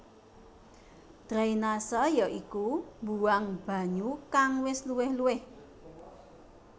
Drainase ya iku mbuwang banyu kang wis luwih luwih